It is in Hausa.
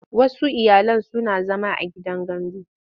Wasu iyalan suna zama a gidan gandu.